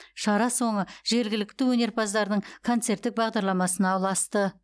шара соңы жергілікті өнерпаздардың концерттік бағдарламасына ұласты